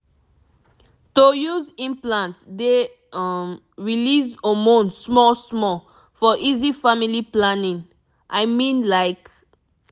to use implant dey um release hormone small small for easy family planning i mean like